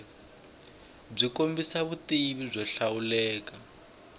byi kombisa vutivi byo hlawuleka